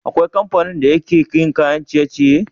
Akwai kamfanin da yake yin kayan ciye ciye?